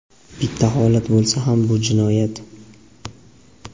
bitta holat bo‘lsa ham – bu jinoyat.